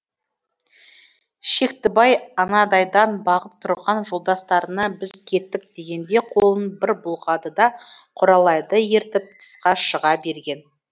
шектібай анадайдан бағып тұрған жолдастарына біз кеттік дегендей қолын бір бұлғады да құралайды ертіп тысқа шыға берген